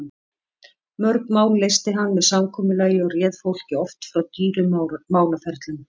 Mörg mál leysti hann með samkomulagi og réð fólki oft frá dýrum málaferlum.